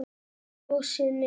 Kjósið mig.